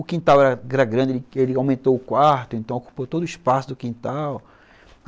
O quintal era grande, ele aumentou o quarto, então ocupou todo o espaço do quintal.